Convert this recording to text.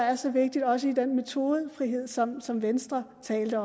er så vigtigt også i den metodefrihed som som venstre talte